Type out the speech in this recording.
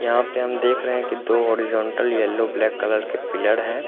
यहाँ पे हम देख रहे हैं की दो होरिज़न्टल यल्लो ब्लैक कलर के दो पिलड़ हैं।